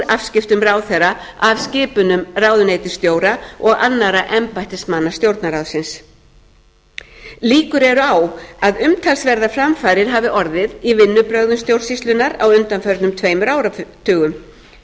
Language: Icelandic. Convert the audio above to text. afskiptum ráðherra af skipunum ráðuneytisstjóra og annarra embættismanna stjórnarráðsins líkur eru á að umtalsverðar framfarir hafi orðið í vinnubrögðum stjórnsýslunnar á undanförnum tveimur áratugum